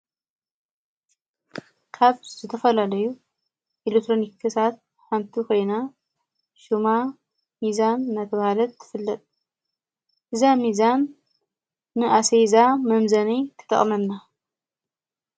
ካብ ዘተፈላለዩ ኤሌትሮኒክሳት ሓንቲ ኮይና ሹማ ሚዛን ናተብሃለት ትፍለጥ እዛ ሚዛን ኣሰፌዛ መምዘኒ ትጠቕመና።